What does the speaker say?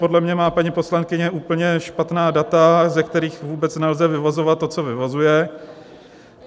Podle mě má paní poslankyně úplně špatná data, ze kterých vůbec nelze vyvozovat to, co vyvozuje.